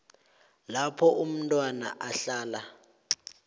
lapho umntwana ahlala